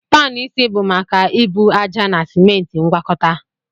Panu isi bụ maka ebu ájá na simenti ngwakọta